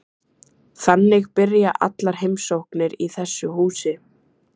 Þannig byrja allar heimsóknir í þessu húsi.